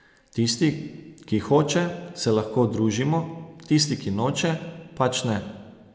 Tisti, ki hoče, se lahko družimo, tisti, ki noče, pač ne.